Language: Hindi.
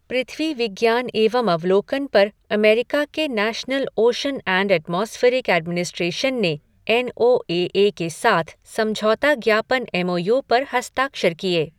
पृथ्वी विज्ञान एवं अवलोकन पर अमेरिका के national ocean and atmospheric administration ने एन ओ ए ए के साथ समझौता ज्ञापन एमओयू पर हस्ताक्षर किए।